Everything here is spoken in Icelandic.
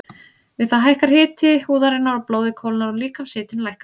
Við það hækkar hiti húðarinnar og blóðið kólnar og líkamshitinn lækkar.